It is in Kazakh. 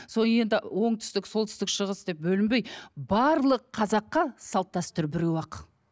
сол енді оңтүстік солтүстік шығыс деп бөлінбей барлық қазаққа салт дәстүр біреу ақ